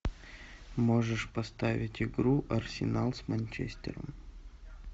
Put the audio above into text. можешь поставить игру арсенал с манчестером